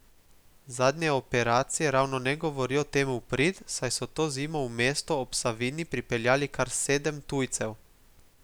Zadnje operacije ravno ne govorijo temu v prid, saj so to zimo v mesto ob Savinji pripeljali kar sedem tujcev.